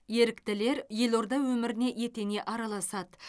еріктілер елорда өміріне етене араласады